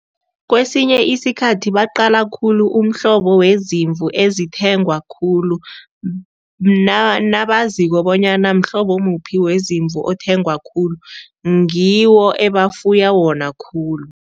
Kwesinye isikhathi baqala khulu umhlobo wezimvu ezithengwa khulu nabaziko bonyana mhlobo muphi wezimvu othengwe khulu, ngiwo ebafuya wona khulu.